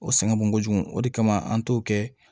O sɛgɛn bon kojugu o de kama an t'o kɛ